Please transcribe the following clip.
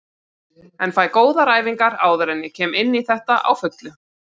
En fæ góðar æfingar áður en ég kem inní þetta á fullu.